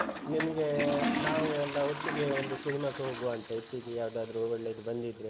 ನಿಮ್ಗೆ ನಾವು ಎಲ್ಲ ಒಟ್ಟಿಗೆ ಒಂದು ಸಿನಿಮಾಕ್ಕೆ ಹೋಗುವ ಅಂತ ಇತ್ತೀಚೆಗೆ ಯಾವುದಾದ್ರೂ ಒಳ್ಳೇದು ಬಂದಿದ್ರೆ